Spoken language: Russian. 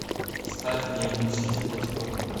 ставь мне игру сити против тоттенхэма